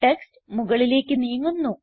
text മുകളിലേക്ക് നീങ്ങുന്നു